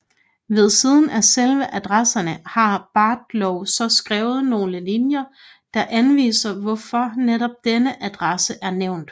Ved siden af selve adresserne har Barhow så skrevet nogle linjer der anviser hvorfor netop denne adresse er nævnt